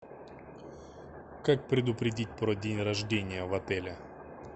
как предупредить про день рождения в отеле